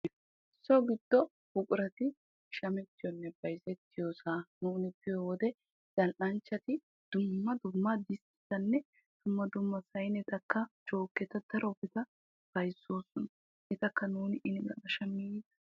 So giddo buqurati shametiyone bayzettiyosa nuuni biyo wode zal'anchchati dumma dumma disttiyanne dumma dumma saynettaka joketta darobata bayzosona. Etakka nuuni ini galla shammidi yiida.